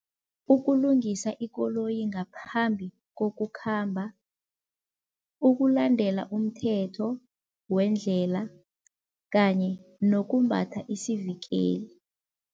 Ukulungisa ikoloyi ngaphambi kokukhamba, ukulandela umthetho wendlela kanye nokumbatha isivikeli.